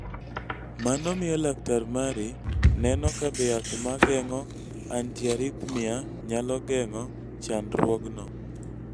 Mano miyo laktar mari neno ka be yath ma geng�o antiarrhythmia nyalo geng�o chandruogno.